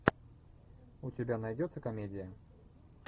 у тебя найдется комедия